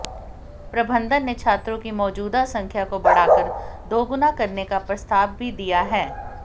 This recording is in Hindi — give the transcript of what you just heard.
प्रबंधन ने छात्रों की मौजूदा संख्या को बढ़ाकर दोगुना करने का प्रस्ताव भी दिया है